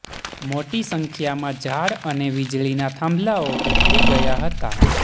મોટી સંખ્યામાં ઝાડ અને વીજળીના થાંભલાઓ ઉખડી ગયા હતાં